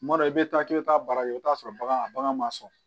Kuma dɔ i bɛ taa k'i bɛ taa baara kɛ i bɛ t'a sɔrɔ bagan bagan ma sɔn